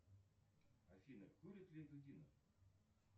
афина курит ли дудинов